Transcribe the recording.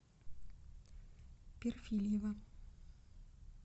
перфильева